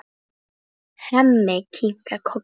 Hemmi kinkar kolli.